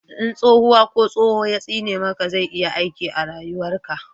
in tsohuwa ko tsoho ya tsine maka zai iya aiki a rayuwar ka